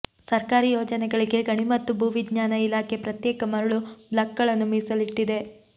ಸರ್ಕಾರಿ ಯೋಜನೆಗಳಿಗೆ ಗಣಿ ಮತ್ತು ಭೂ ವಿಜ್ಞಾನ ಇಲಾಖೆ ಪ್ರತ್ಯೇಕ ಮರಳು ಬ್ಲಾಕ್ಗಳನ್ನು ಮೀಸಲಿಟ್ಟಿದೆ